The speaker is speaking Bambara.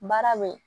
Baara be yen